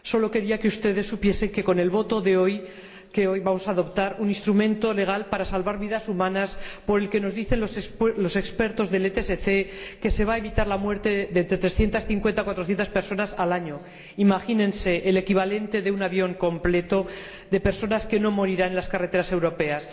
Solo quería que ustedes supiesen que con el voto de hoy vamos a adoptar un instrumento legal para salvar vidas humanas por el que, nos dicen los expertos del ETSC, se va evitar la muerte de entre 350 y 400 personas al año. Imagínense el equivalente a un avión lleno de personas que no morirán en las carreteras europeas.